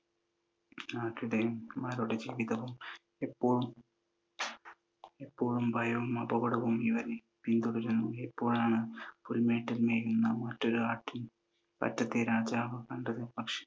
ആട്ടിടയന്മാരുടെ ജീവിതം, എപ്പോഴും എപ്പോഴും ഭയവും അപകടവും ഇവരെ പിന്തുടരുന്നു. അപ്പോഴാണ് പുൽമേട്ടിൽ മേയുന്ന മറ്റൊരു ആട്ടിൻ പറ്റത്തെ രാജാവ് കണ്ടത്. പക്ഷെ